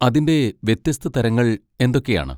അതിന്റെ വ്യത്യസ്ത തരങ്ങൾ എന്തൊക്കെയാണ്?